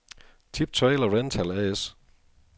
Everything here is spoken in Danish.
Tip Trailer Rental A/S